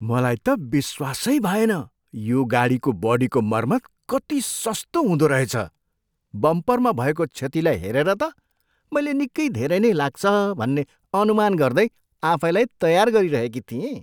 मलाई त विश्वासै भएन यो गाजीको बडीको मर्मत कति सस्तो हुँदोरहेछ! बम्परमा भएको क्षतिलाई हेरेर त मैले निकै धेरै नै लाग्छ भन्ने अनुमान गर्दै आफैँलाई तयार गरिरहेकी थिएँ।